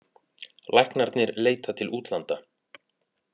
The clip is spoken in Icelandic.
Læknarnir leita til útlanda